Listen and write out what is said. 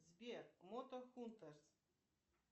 сбер мото хунтерс